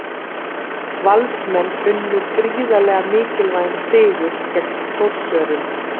Valsmenn unnu gríðarlega mikilvægan sigur gegn Þórsurum.